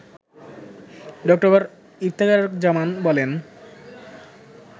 ড. ইফতেখারুজ্জামান বলেন